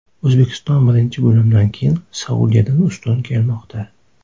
O‘zbekiston birinchi bo‘limdan keyin Saudiyadan ustun kelmoqda.